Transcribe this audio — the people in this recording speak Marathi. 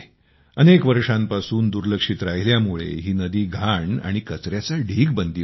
अनेक वर्षांपासून दुर्लक्षित राहिल्यामुळे ही नदी घाण आणि कचऱ्याचा ढीग बनली होती